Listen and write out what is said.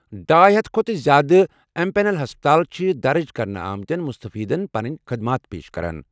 ڈآے ہتھَ کھۄتہٕ زیٛادٕ امپینل ہسپتال چھ درج کرنہٕ آمتیٚن مستفیدین پنٕنۍ خدمات پیش کران۔